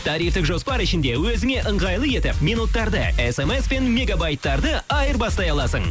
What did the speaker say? тарифтік жоспар ішінде өзіңе ыңғайлы етіп минуттарды смспен мегобайттарды айырбастай аласың